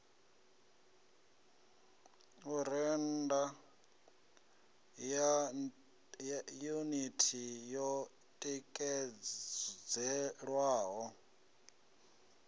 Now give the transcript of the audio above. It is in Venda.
u rennda yuniti yo tikedzelwaho